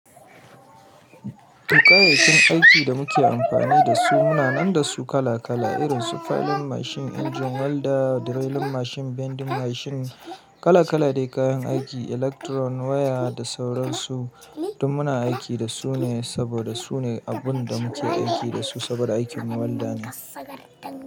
To, kayayyakin aikin da muke amfani da su muna nan da su kala kala irin su filing mashin, engine welder, drilling mashin, bending mashin. Kala kala ne kayan aiki, electron waya da sauran su. To muna aiki da su ne, saboda sune abun da muke aiki da su saboda aikin mu.